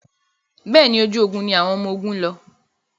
Bẹ́ẹ̀ni, ojú ogun ni àwọn ọmọgun ń lọ.